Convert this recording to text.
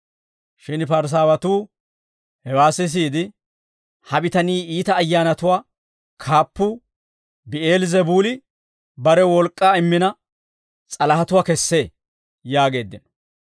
Shin Parisaawatuu hewaa sisiide, «Ha bitanii iita ayyaanatuwaa kaappuu ‹Bi'eel-Zebuuli› barew wolk'k'aa immina, s'alahatuwaa kessee» yaageeddino.